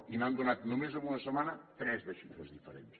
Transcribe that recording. i n’han donat només en una setmana tres de xifres diferents